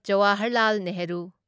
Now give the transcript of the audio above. Jawaharlal Nehru